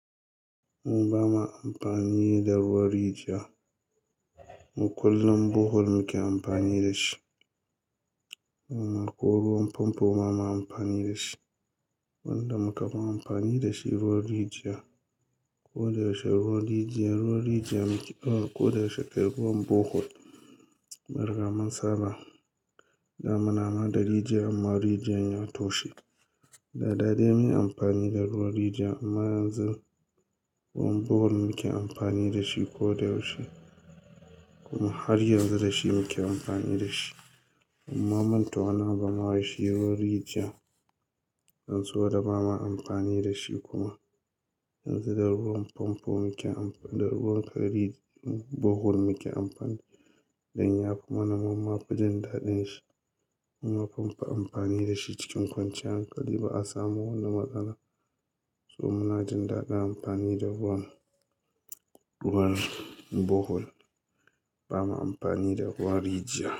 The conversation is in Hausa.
Mu ba ma amfani da ruwan rijiya. Mu kullum Bohol muke amfani da shi. Kuma ko ruwan famfo ma ba ma amfani da shi. Wanda muka fi amfani da shi ruwan rijiya. Ko da yaushe ruwan rijiya, ruwan rijiya muke, ko da yaushe kai ruwan Bohol. Mun riga mun saba, da muna ma da rijiya amma rijiyan ya toshe. Da dai munyi amfani da ruwan rijiya amma yanzu ruwan Bohol muke amfani da shi ko da yaushe. Kuma har yanzu da shi muke amfani da shi. Mumma manta wani abu ma wai shi ruwan rijiya. Don saboda ba ma amfani da shi kuma. Yanzu da ruwan famfo muke amfa, da ruwan kai ri Bohol muke amfani. Dan ya fi mana mumma fi jin daɗin shi. Muma fa mumfi amfani da shi cikin kwanciyan hankali ba a samu wani matsala. So muna jin daɗin amfani da ruwan, ruwan Bohol. Ba ma amfani da ruwan rijiya.